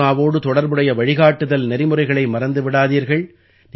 கொரோனாவோடு தொடர்புடைய வழிகாட்டுதல் நெறிமுறைகளை மறந்து விடாதீர்கள்